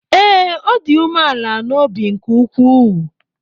Ee, ọ dị umeala n’obi nke ukwuu.